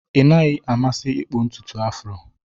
Ị naghị amasị ịkpụ ntutu Afro?